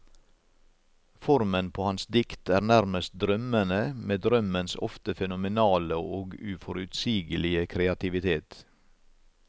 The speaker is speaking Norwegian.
Formen på hans dikt er nærmest drømmende, med drømmens ofte fenomenale og uforutsigelige kreativitet.